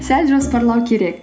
сәл жоспарлау керек